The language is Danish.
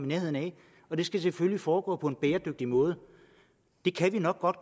nærheden af og det skal selvfølgelig foregå på en bæredygtig måde det kan vi nok godt